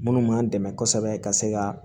Minnu m'an dɛmɛ kosɛbɛ ka se ka